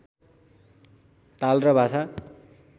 ताल र भाषा